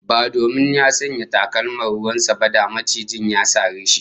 Ba domin ya sanya takalman ruwan sa ba, da macijin ya sare shi